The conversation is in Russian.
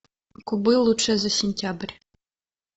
кубы лучшее за сентябрь